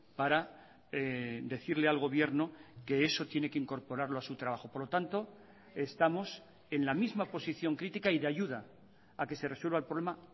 para decirle al gobierno que eso tiene que incorporarlo a su trabajo por lo tanto estamos en la misma posición crítica y de ayuda a que se resuelva el problema